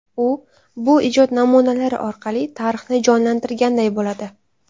U bu ijod namunalari orqali tarixni jonlantirganday bo‘ladi.